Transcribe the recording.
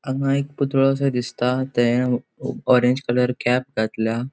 हांगा एक पुतळो सो दिसता ते ऑरेंज कलर कॅप घातल्या.